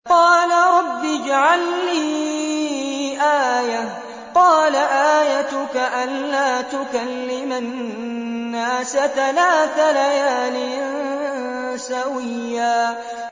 قَالَ رَبِّ اجْعَل لِّي آيَةً ۚ قَالَ آيَتُكَ أَلَّا تُكَلِّمَ النَّاسَ ثَلَاثَ لَيَالٍ سَوِيًّا